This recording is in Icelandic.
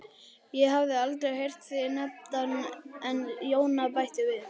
Ég hafði aldrei heyrt þig nefndan en Jóna bætti við